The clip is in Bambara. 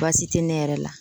Baasi te ne yɛrɛ la